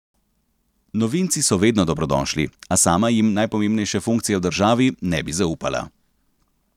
Novinci so vedno dobrodošli, a sama jim najpomembnejše funkcije v državi ne bi zaupala.